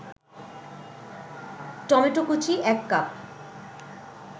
টমেটোকুচি ১ cup